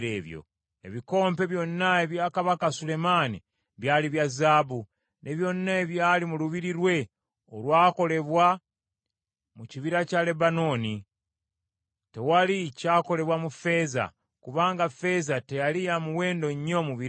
Ebikompe byonna ebya kabaka Sulemaani byali bya zaabu, ne byonna ebyali mu lubiri lwe olwakolebwa mu kibira kya Lebanooni. Tewali kyakolebwa mu ffeeza, kubanga ffeeza teyali ya muwendo nnyo mu biro ebyo.